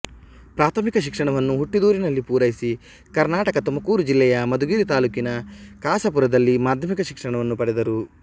ಪ್ರಾಥಮಿಕ ಶಿಕ್ಷಣವನ್ನು ಹುಟ್ಟಿದೂರಿನಲ್ಲಿ ಪೂರೈಸಿ ಕರ್ನಾಟಕದ ತುಮಕೂರು ಜಿಲ್ಲೆಯ ಮಧುಗಿರಿ ತಾಲೂಕಿನ ಕಸಾಪುರದಲ್ಲಿ ಮಾಧ್ಯಮಿಕ ಶಿಕ್ಷಣವನ್ನು ಪಡೆದರು